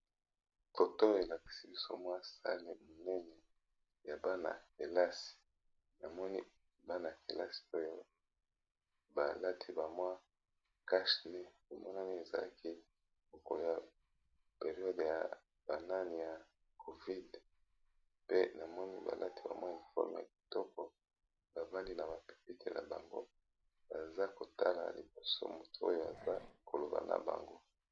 Foto elakisi biso mwa sali monene ya bana-kelasi namoni bana-kelasi oyo balati bamwa kashny omonami ezalaki kokolya periode ya banani ya covid pe namoni balati bamwa eleforme ya kitoko bavandi na bapepeti na bango baza kotala na liboso moto oyo aza koloba na bango.